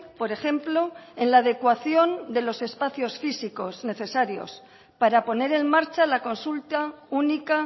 por ejemplo en la adecuación de los espacios físicos necesarios para poner en marcha la consulta única